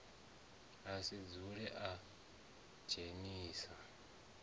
a si dzule a dzhenisa